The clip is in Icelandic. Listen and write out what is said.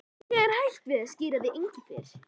Ég er hættur við að skíra þig Engifer.